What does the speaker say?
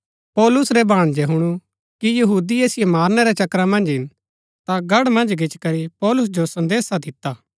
पौलुस रै भाणजै हुणु कि यहूदी ऐसिओ मारनै रै चक्करा मन्ज हिन ता गढ़ मन्ज गिचीकरी पौलुस जो संदेसा दिता